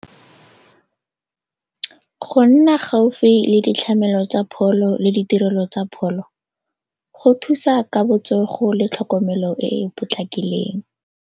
Go nna gaufi le ditlamelo tsa pholo le ditirelo tsa pholo go thusa ka botsogo le tlhokomelo e e potlakileng.